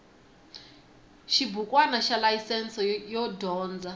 xibukwana xa layisense yo dyondza